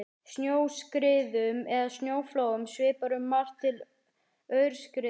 Snjóskriðum eða snjóflóðum svipar um margt til aurskriðna.